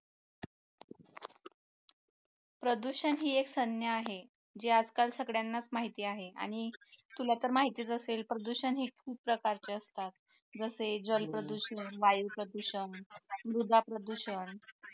प्रदूषण ही एक सज्ञा आहे जे आजकाल सगळ्यांनाच माहिती आहे आणि तुला तर माहितीच असेल प्रदूषण हे खूप प्रकारचे असतात जसे जल प्रदूषण वायू प्रदूषण मृदा प्रदूषण